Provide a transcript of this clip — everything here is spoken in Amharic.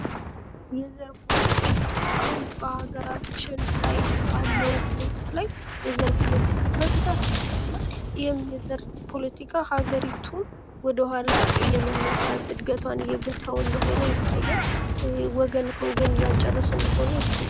የዘር ፖለቲካ አሁን በአገራችን ላይ ባለዉ ሁኔታ ላይ የዘር ፖለቲካ በብዛት ይስተዋላል። ይህም የዘር ፖለቲካ ሀገሪቱን ወደ ኋላ እየመለሰ እድገቷን እየገታዉ እንደሆነ ይታያል። ወገን ከወገን እያጫረሰ እንደሆነ ይታያል።